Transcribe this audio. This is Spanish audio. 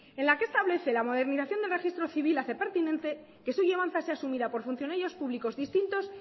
en la que se establece la modernización del registro civil hace pertinente que su llevanza sea asumida por funcionarios públicos distintos